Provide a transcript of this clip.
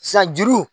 San juru